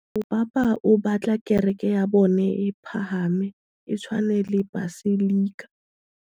Mopapa o batla kereke ya bone e pagame, e tshwane le paselika.